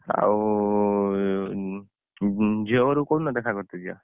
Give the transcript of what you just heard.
ଆଉ ଝିଅ ଘରକୁ କୋଉଦିନ ଦେଖା କରତେ ଯିବା?